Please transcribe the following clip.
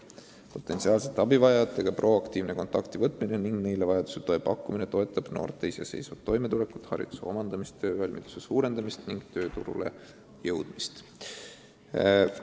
Potentsiaalsete abivajajatega proaktiivne kontakti võtmine ning neile vajadusel toe pakkumine toetab noorte iseseisvat toimetulekut, hariduse omandamist, töövalmiduse suurendamist ning tööturule jõudmist.